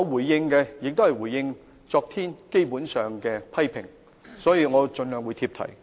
我基本上也是回應昨天議員的批評，所以我會盡量貼題。